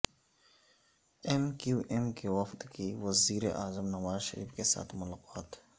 M Q M کے وفد کی وزیر اعظم نواز شریف کے ساتھ ملاقات